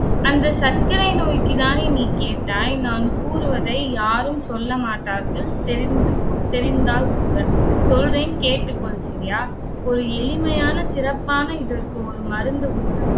அந்த சர்க்கரை நோய்க்குத்தானே நீ கேட்டாய்? நான் கூறுவதை யாரும் சொல்ல மாட்டார்கள். தெரிந்து கொ~ தெரிந்தால் கூட, சொல்றேன் கேட்டுகொள் சரியா, ஒரு எளிமையான சிறப்பான இதற்கு ஒரு மருந்து உண்டு